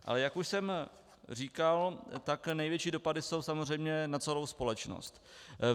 Ale jak už jsem říkal, tak největší dopady jsou samozřejmě na celou společnost.